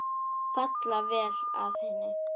Falla vel að henni.